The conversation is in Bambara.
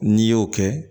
N'i y'o kɛ